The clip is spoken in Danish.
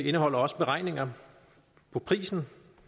indeholder også beregninger på prisen